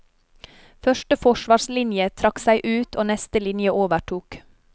Første forsvarslinje trakk seg ut og neste linje overtok.